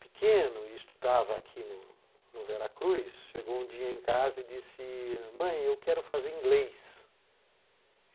pequeno e estudava aqui no Veracruz, chegou um dia em casa e disse, mãe, eu quero fazer inglês.